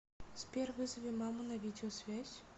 сбер вызови маму на видеосвязь